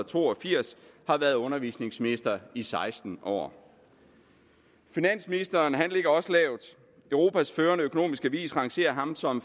to og firs har været undervisningsminister i seksten år finansministeren ligger også lavt europas førende økonomiske avis rangerer ham som